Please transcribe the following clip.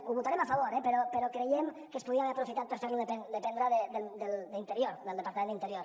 ho votarem a favor eh però creiem que es podria haver aprofitat per fer ho dependre d’interior del departament d’interior